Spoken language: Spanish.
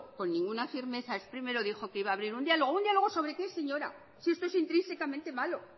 con ninguna firmeza es primero dijo que iba a abrir un diálogo sobre qué señora si esto es intrínsicamente malo